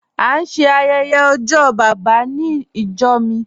A n ṣẹ ayẹyẹ ojó baba nínú ìjọ́ mi